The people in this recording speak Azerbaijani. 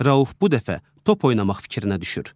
Rauf bu dəfə top oynamaq fikrinə düşür.